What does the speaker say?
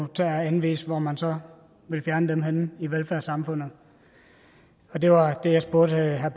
tage at anvise hvor man så vil fjerne henne i velfærdssamfundet det var det jeg spurgte herre